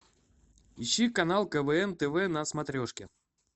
ищи канал квн тв на смотрешке